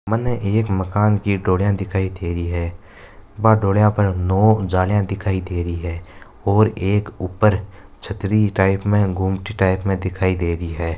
मन एक मकान की डोलीया दिखाय दे रही है बा डोलिया पर लोह की जालिया दे रही है और एक छत्री टाईप में गुमटी टाईप में दिखायी दे रही है।